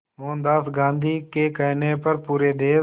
मोहनदास गांधी के कहने पर पूरे देश